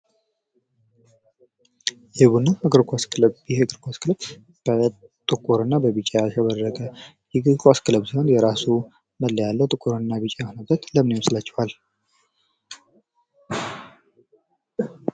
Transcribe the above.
የቡና እግር ኳስ ክለብ ፦ ይህ የእግር ኳስ ክለብ በጥቁርና በቢጫ ያሸበረቀ የእግር ኳስ ክለብ ሲሆን የራሱ መለያ አለው ። ጥቁርና ቢጫ የሆነበት ለምን ይመስላችኋል ?